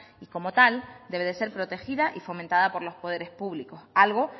y como tal debe de ser protegida y fomentada por los poderes públicos algo